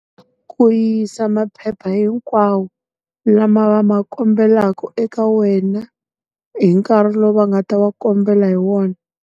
Ku yisa maphepha hinkwawo, lama va ma kombelaku eka wena, hi nkarhi lowu va nga ta wa kombela hi wona.